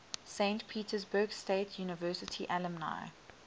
saint petersburg state university alumni